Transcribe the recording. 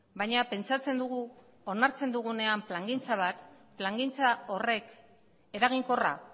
baina pentsatzen dugu onartzen dugunean plangintza bat plangintza horrek eraginkorra